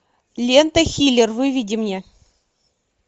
лента хилер выведи мне